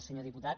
senyor diputat